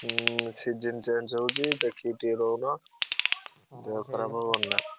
ହୁଁ season change ଦେଖିକି ଟିକେ ରହୁନ ଦେହ ଖରାପ ହବନି ନା।